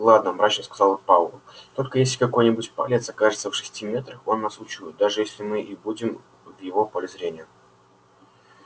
ладно мрачно сказал пауэлл только если какой-нибудь палец окажется в шести метрах он нас учует даже если мы и будем в его поле зрения